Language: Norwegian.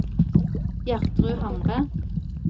Gjertrud Hamre